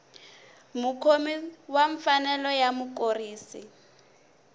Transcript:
mukhomi wa mfanelo ya mukurisi